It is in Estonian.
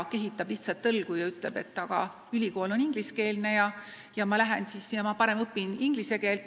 Ta kehitab lihtsalt õlgu ja ütleb, et ülikool on ingliskeelne ja ma parem õpin inglise keelt.